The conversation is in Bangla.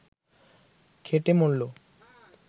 খেটে মরল